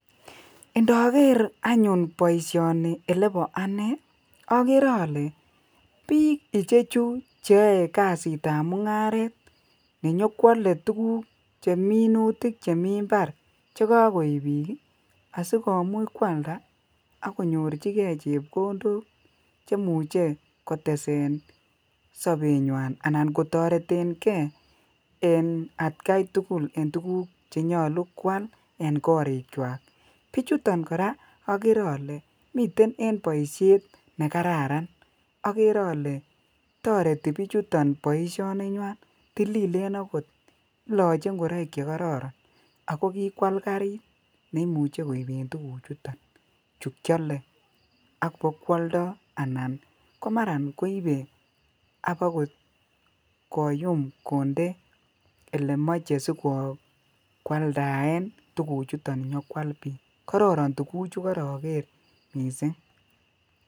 indogeer anyuun boisyoni olebo anee ogeree olee biik ichechu cheyoee kasit ab mungaret chenyokwole tuguk cheminutik chemii imbar chegagoiib biik asigomuch kwalda ak konyorchigee chepkondook chemuche kotesen sobenywaan anan kotoreten gee en atkai tugul en tuguk chenyolu kwaal en koriik kwaak, bichuton koraa ogere olee miten en boisyeet negararan, ogeree ole toreti bichuton boisyeet ninywaan tililen agoot iloche ngoroik chegororon ago kikwaal gariit neimuche koibeen tuguk chuton kyole ak bokwoldoo anan komaraan koibee koyuum kondee olemoche sigogwaldaeen tuguk chuton siyakwaal biik kororon tuguk chugorogeer mising